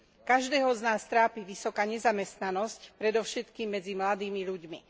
Každého z nás trápi vysoká nezamestnanosť, predovšetkým medzi mladými ľuďmi.